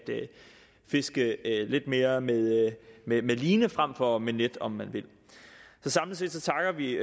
fiske lidt mere med line frem for med net om man vil samlet set takker vi